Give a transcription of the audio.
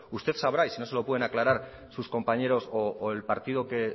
usted sabrá y si no se lo pueden aclarar sus compañeros o el partido que